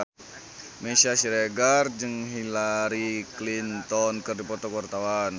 Meisya Siregar jeung Hillary Clinton keur dipoto ku wartawan